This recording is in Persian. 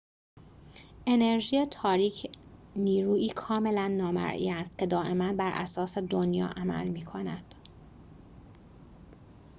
انرژی تاریک نیرویی کاملاً نامرئی است که دائماً براساس دنیا عمل می‌کند